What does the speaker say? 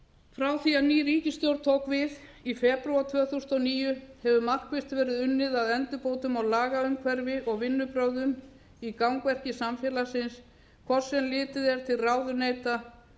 frá því að ný ríkisstjórn tók við í febrúar tvö þúsund og níu hefur markvisst verið unnið að endurbótum á lagaumhverfi og vinnubrögðum í gangverki samfélagsins hvort sem litið er til ráðuneyta